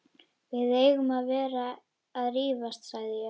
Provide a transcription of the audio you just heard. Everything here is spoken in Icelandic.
Við eigum ekki að vera að rífast sagði ég.